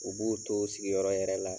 U b'u to u sigiyɔrɔ yɛrɛ la